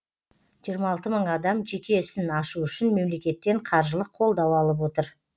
жиырма алты мың адам жеке ісін ашу үшін мемлекеттен қаржылық қолдау алып отыр